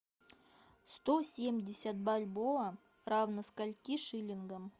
сто семьдесят бальбоа равно скольки шиллингам